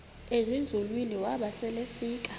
ezinzulwini waba selefika